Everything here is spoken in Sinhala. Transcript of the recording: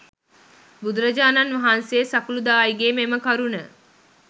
බුදුරජාණන් වහන්සේ සකුළුදායිගේ මෙම කරුණ